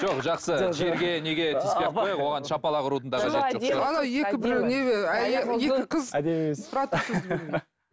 жоқ жақсы жерге неге тиіспей ақ қояйық оған шапалақ ұрудың да қажеті жоқ